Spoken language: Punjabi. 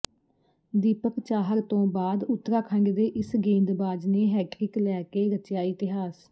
ਦੀਪਕ ਚਾਹਰ ਤੋਂ ਬਾਅਦ ਉੱਤਰਾਖੰਡ ਦੇ ਇਸ ਗੇਂਦਬਾਜ਼ ਨੇ ਹੈਟ੍ਰਿਕ ਲੈ ਕੇ ਰਚਿਆ ਇਤਿਹਾਸ